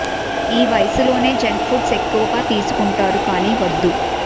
ఈ వయసులోనే junk foods ఎక్కువగా తీసుకుం టారు కానీ వద్దు